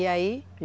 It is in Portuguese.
E aí?